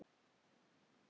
Og nú er Þorgeir allur.